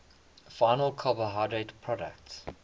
final carbohydrate products